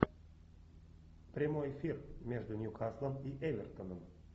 прямой эфир между ньюкаслом и эвертоном